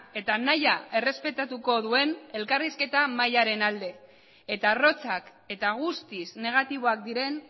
eta nahia errespetatuko duen elkarrizketa mailaren alde eta arrotzak eta guztiz negatiboak diren